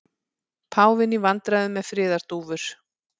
Páfinn í vandræðum með friðardúfur